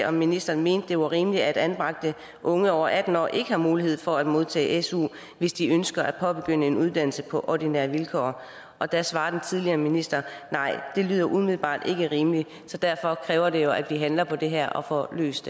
om ministeren mente det var rimeligt at anbragte unge over atten år ikke har mulighed for at modtage su hvis de ønsker at påbegynde en uddannelse på ordinære vilkår og der svarede den tidligere minister nej det lyder umiddelbart ikke rimeligt så derfor kræver det jo at vi handler på det her og får løst